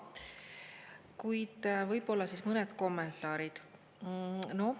Kuid võib-olla mõned kommentaarid.